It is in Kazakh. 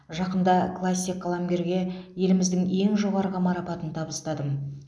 жақында классик қаламгерге еліміздің ең жоғарғы марапатын табыстадым